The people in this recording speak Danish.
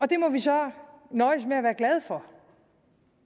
det må vi så nøjes med at være glade for